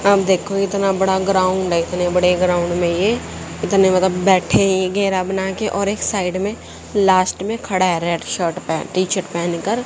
अब देखो इतना बड़ा ग्राउंड है इतने बड़े ग्राउंड में ये इतने मतलब बैठे हैं घेरा बनाके और एक साइड में लास्ट में खड़ा है रेड शर्ट पहन टी शर्ट पहनकर।